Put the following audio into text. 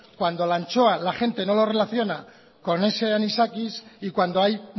cuando la ancho la gente no lo relaciona con ese anisakis y cuando hay